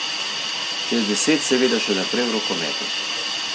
Čez deset seveda še naprej v rokometu.